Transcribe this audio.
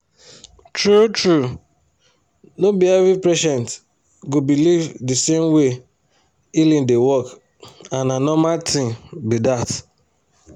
true true no be every patient go believe the same way healing dey work and na normal thing be that.